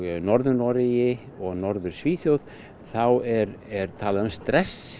Norður Noregi og Norður Svíþjóð er er talað um stress